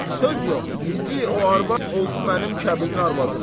Söz yox, indi o arvad oldu mənim kəbinli arvadım.